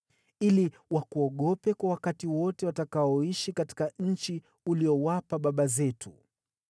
ili wakuogope kwa wakati wote watakaoishi katika nchi uliyowapa baba zetu.